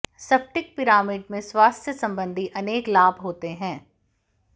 स्फटिक पिरामिड में स्वास्थ्य सम्बन्धी अनेक लाभ होते हैं